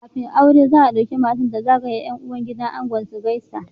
Kafin aure za a dauki matar ta zagaya gidan yan uwan angon su gaisa